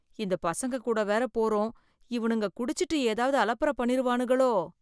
இந்த பசங்க கூட வேற போறோம் இவனுங்க குடிச்சிட்டு ஏதாவது அலப்பற பண்ணிருவானுகளோ.